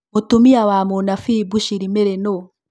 Mũtumia wa mũnabii Bushiri Mary nũ?